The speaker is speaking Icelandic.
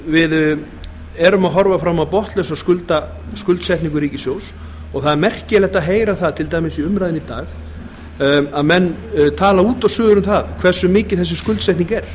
við erum að horfa fram á botnlausa skuldsetningu ríkissjóðs og það er merkilegt að heyra það til dæmis í umræðunni í dag að menn tala út og suður um það hversu mikil þessi skuldsetning er